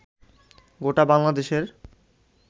গোটা বাংলাদেশের